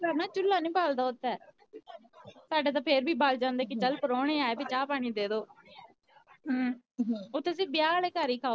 ਚੁੱਲ੍ਹਾ ਨੀ ਬਲਦਾ ਓਥੇ ਸਾਡੇ ਤਾ ਫਿਰ ਵੀ ਬਲ ਜਾਂਦੇ ਕਿ ਚੱਲ ਪਰੌਣੇ ਆਏ ਵੇ ਚਾਹ ਪਾਣੀ ਦੇਦੋ ਓਥੇ ਸਿਰਫ ਵਿਆਹ ਵਾਲੇ ਘਰ ਹੀ ਖਾਓ ਪੀਯੋ